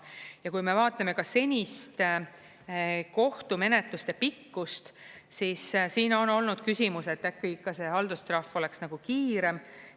Ja kui me vaatame senist kohtumenetluste pikkust, siis siin on olnud küsimus, et äkki ikka see haldustrahv oleks nagu kiirem.